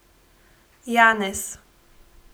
Janez.